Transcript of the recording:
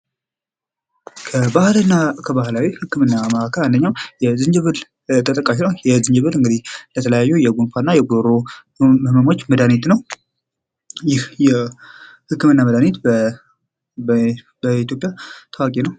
ባህል እና ከባህላዊ ህክምና አንደኛው ዝንጅብል ተጠቃሽ ነው። ዝንጅብል ለተለያዩ የጉንፋንና የጉሮሮ ህመሞች መድኃኒት ነው። ይህ የህክምና መድኃኒት በኢትዮጵያ የታወቀ ነው።